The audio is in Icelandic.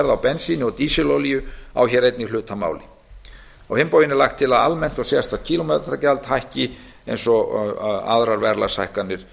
á bensíni og dísilolíu á hér einnig hlut að máli á hinn bóginn er lagt til að almennt og sérstakt kílómetragjald hækki eins og aðrar verðlagshækkanir